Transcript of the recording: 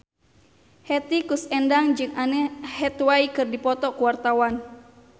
Hetty Koes Endang jeung Anne Hathaway keur dipoto ku wartawan